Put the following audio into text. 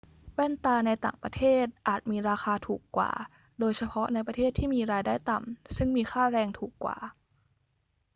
แว่นตาในต่างประเทศอาจมีราคาถูกกว่า โดยเฉพาะในประเทศที่มีรายได้ต่ำซึ่งมีค่าแรงถูกกว่า